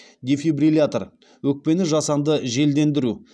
дефибриллятор өкпені жасанды желдендіру